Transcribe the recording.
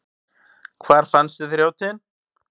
Hvar fannstu þrjótinn?